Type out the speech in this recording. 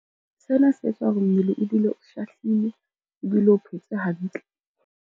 Sena se etsa hore mmele ebile o shahlile, ebile o phetse hantle.